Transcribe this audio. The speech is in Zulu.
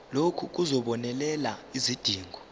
lokhu kuzobonelela izidingo